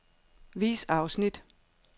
Vis afsnit.